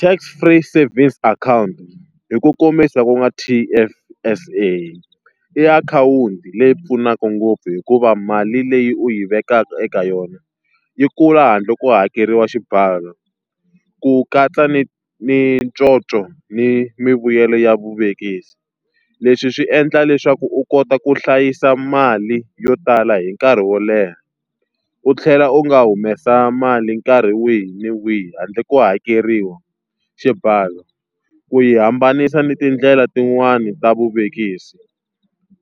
Tax Free Savings Account hi ku kombisa ku nga T_F_S_A i akhawunti leyi pfunaka ngopfu hikuva mali leyi u yi vekaka eka yona yi kula handle ko hakeriwa xibalo, ku katsa ni ni conco ni mivuyelo ya vuvekisi. Leswi swi endla leswaku u kota ku hlayisa mali yo tala hi nkarhi wo leha, u tlhela u nga humesa mali nkarhi wihi na wihi handle ko hakeriwa xibalo. Ku yi hambanisa ni tindlela tin'wani ta vuvekisi.